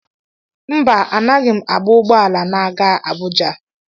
Mba, Anaghị m agba ụgbọ ala na-aga Abuja.